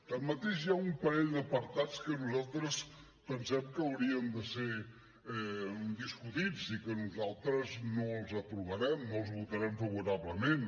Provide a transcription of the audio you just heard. tanmateix hi ha un parell d’apartats que nosaltres pensem que haurien de ser discutits i que nosaltres no els aprovarem no els votarem favorablement